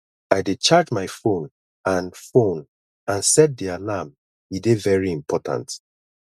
i dey charge my phone and phone and set di alarm e dey very important